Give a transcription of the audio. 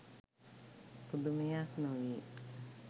පුදුමයක් නොවේ